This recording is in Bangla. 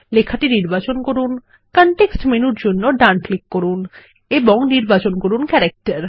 লেখাটি নির্বাচন করুন কনটেক্সট মেনুর জন্য ডান ক্লিক করুন এবং লিখুন ক্যারেক্টার